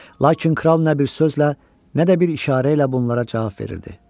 Lakin kral nə bir sözlə, nə də bir işarə ilə bunlara cavab verirdi.